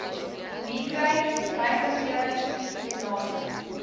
migraine breinbeserings spinale